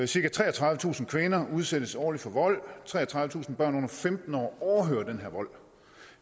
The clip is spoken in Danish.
cirka treogtredivetusind kvinder udsættes årligt for vold treogtredivetusind børn under femten år overhører den her vold